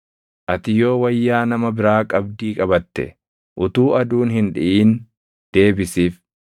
Ati yoo wayyaa nama biraa qabdii qabatte, utuu aduun hin dhiʼin deebisiif;